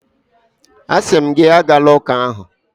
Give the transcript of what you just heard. Asị m gị, agala ụka ahụ!